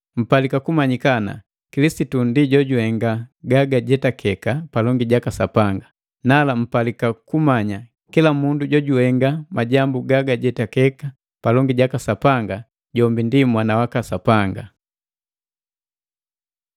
Mpalika kumanyika ana, Kilisitu ndi jojuhenga gagajetakike palongi jaka Sapanga, nala mpalika kumanya kila mundu jojuhenga majambu gagajetakiki palongi jaka Sapanga, jombi ndi mwana waka Sapanga.